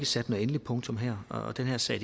sat noget endeligt punktum her og den her sag